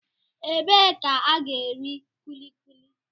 Ebee ka a ga-eri kulikuli?